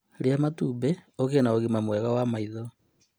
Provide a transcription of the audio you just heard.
Rĩa matumbĩ ũgĩe na ũgima mwega wa maĩtho